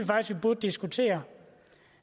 burde diskutere